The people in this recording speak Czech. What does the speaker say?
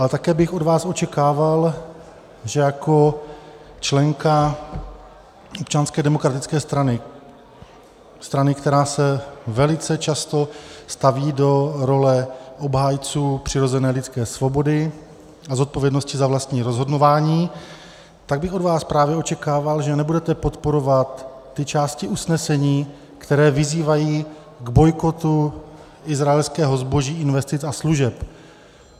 A také bych od vás očekával, že jako členka Občanské demokratické strany, strany, která se velice často staví do role obhájců přirozené lidské svobody a zodpovědnosti za vlastní rozhodování, tak bych od vás právě očekával, že nebudete podporovat ty části usnesení, které vyzývají k bojkotu izraelského zboží, investic a služeb.